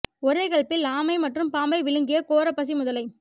ஒரே கல்பில் ஆமை மற்றும் பாம்பை விழுங்கிய கோர பசி முதலை